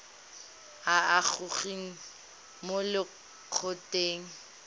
a a gogiwang mo lokgethong